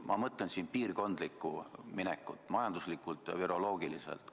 Ma mõtlen siin piirkondlikku minekut, majanduslikult ja viroloogiliselt.